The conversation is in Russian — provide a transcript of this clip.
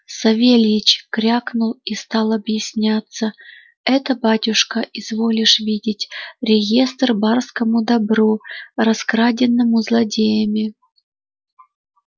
савельич крякнул и стал объясняться это батюшка изволишь видеть реестр барскому добру раскраденному злодеями